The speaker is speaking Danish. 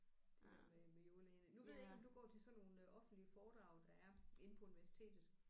Det med med med jordlagene nu ved jeg ikke om du går til sådan nogle offentlige foredrag der er inde på universitetet